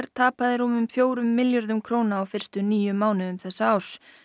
tapaði rúmum fjórum milljörðum króna á fyrstu níu mánuðum þessa árs